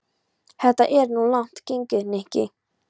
Þetta er nú of langt gengið, Nikki.